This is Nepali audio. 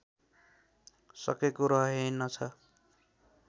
सकेको रहेनछ